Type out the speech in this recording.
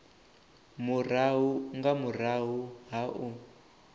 murahu nga murahu ha u